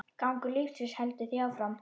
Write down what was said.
Gangur lífsins heldur því áfram.